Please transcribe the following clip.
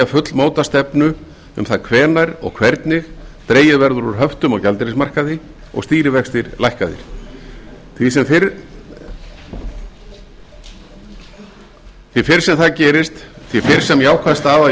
fullmóta stefnu um það hvenær og hvernig dregið verður úr höftum og gjaldeyrismarkaði og stýrivextir lækkaðir því fyrr sem það gerist því fyrr sem jákvæð staða í